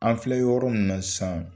An filɛ yɔrɔ min na san.